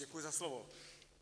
Děkuji za slovo.